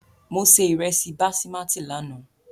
Mo se ìrẹsì basimátì lánàá.